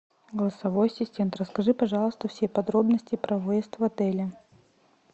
голосовой ассистент расскажи пожалуйста все подробности про выезд в отеле